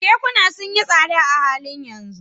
Kekuna sun yi tsada a halin yanzu